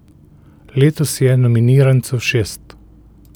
Letos je nominirancev šest.